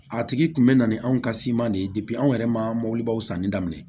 A tigi kun bɛ na ni anw ka siman de ye anw yɛrɛ ma mɔbilibaw sanni daminɛ